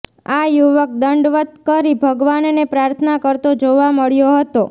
આ યુવક દંડવત કરી ભગવાનને પ્રાર્થના કરતો જોવા મળ્યો હતો